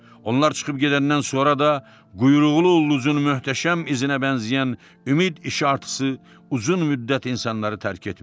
Onlar çıxıb gedəndən sonra da quyruqlu ullduzun möhtəşəm izinə bənzəyən ümid işartısı uzun müddət insanları tərk etmirdi.